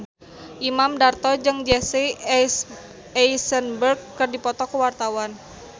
Imam Darto jeung Jesse Eisenberg keur dipoto ku wartawan